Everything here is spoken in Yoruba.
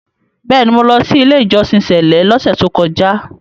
Bẹ́ẹ̀ni, mo lọ sí “ ilé-ìjọsìn sẹ̀lẹ́” lọ́sẹ̀ tókọjá.